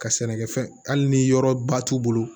Ka sɛnɛkɛfɛn hali ni yɔrɔba t'u bolo